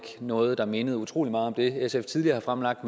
noget der mindede utrolig meget om det sf tidligere har fremlagt